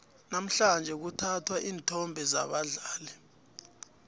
namhlanje kuthathwa iinthombe zabadlali